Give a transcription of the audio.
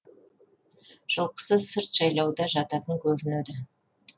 жылқысы сырт жайлауда жататын көрінеді